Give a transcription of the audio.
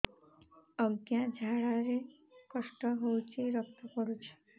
ଅଜ୍ଞା ଝାଡା ରେ କଷ୍ଟ ହଉଚି ରକ୍ତ ପଡୁଛି